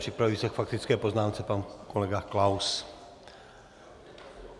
Připraví se k faktické poznámce pan kolega Klaus.